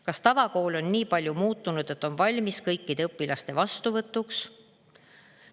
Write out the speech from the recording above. Kas tavakool on nii palju muutunud, et on valmis kõikide õpilaste vastuvõtuks?